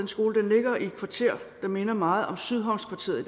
skolen ligger i et kvarter der minder meget om sydhavnskvarteret